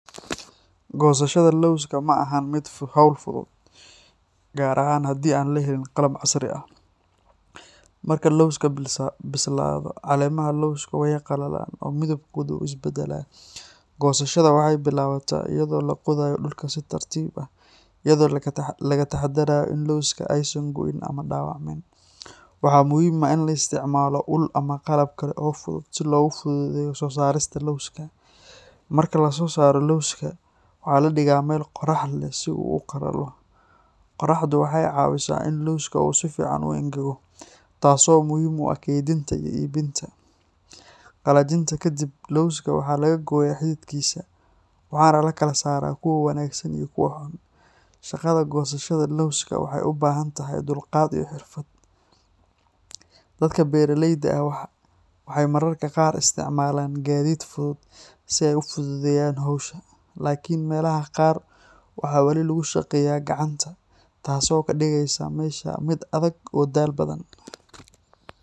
Goosashada lawska ma ahan hawl fudud, gaar ahaan haddii aan la helin qalab casri ah. Marka lawska bislaado, caleemaha lawska way qallalaan oo midabkooda wuu is beddelaa. Goosashada waxay bilaabataa iyadoo la qodayo dhulka si tartiib ah, iyadoo laga taxadarayo in lawska aysan go'in ama dhaawacmin. Waxaa muhiim ah in la isticmaalo ul ama qalab kale oo fudud si loogu fududeeyo soo saarista lawska. Marka la soo saaro lawska, waxaa la dhigaa meel qorrax leh si uu u qalalo. Qoraxdu waxay caawisaa in lawska uu si fiican u engego, taas oo muhiim u ah kaydinta iyo iibinta. Qallajinta ka dib, lawska waxaa laga gooyaa xididkiisa, waxaana la kala saaraa kuwa wanaagsan iyo kuwa xun. Shaqada goosashada lawska waxay u baahan tahay dulqaad iyo xirfad. Dadka beeralayda ah waxay mararka qaar isticmaalaan gaadiid fudud si ay u fududeeyaan hawsha, laakiin meelaha qaar waxaa wali lagu shaqeeyaa gacanta, taasoo ka dhigaysa hawsha mid adag oo daal badan.